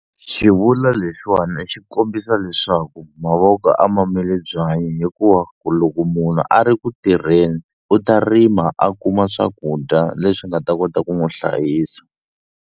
Xivulwa lexiwani xi kombisa leswaku mavoko a ma mili byanyi hikuva ku loko munhu a ri ku tirheni u ta rima a kuma swakudya leswi nga ta kota ku n'wu hlayisa.